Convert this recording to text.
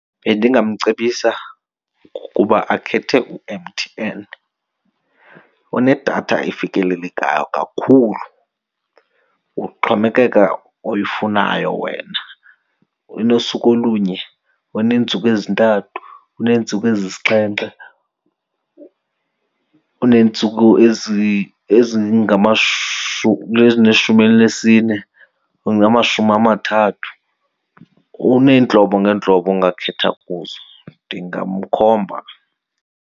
Bendingamcebisa ukuba akhethe uMTN unedatha efikelelekayo kakhulu. Kuxhomekeka oyifunayo wena. Unosuku olunye, uneentsuku ezintathu, uneentsuku ezisixhenxe, uneentsuku ezineshumi elinesine, ezingamashumi amathathu. Uneentlobo ngeentlobo ongakhetha kuzo, ndingamkhomba.